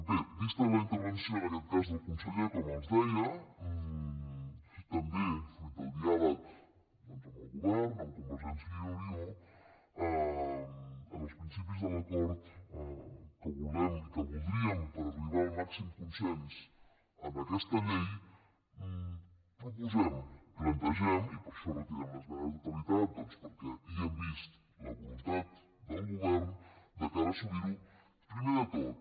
bé vista la intervenció en aquest cas del conseller com els deia també fruit del diàleg doncs amb el govern amb convergència i unió en els principis de l’acord que volem i que voldríem per arribar al màxim consens en aquesta llei proposem plantegem i per això retirem l’esmena a la totalitat doncs perquè hi hem vist la voluntat del govern de cara a assolir ho primer de tot